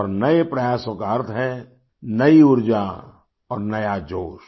और नए प्रयासों का अर्थ है नई ऊर्जा और नया जोश